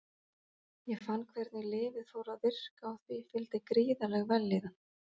Ég fann hvernig lyfið fór að virka og því fylgdi gríðarleg vellíðan.